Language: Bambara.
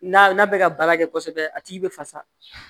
N'a n'a bɛ ka baara kɛ kosɛbɛ a tigi bɛ fasa